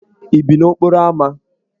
Ị bi n'okporo ámá?